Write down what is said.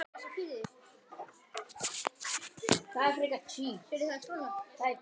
Þín, Jóna Marín.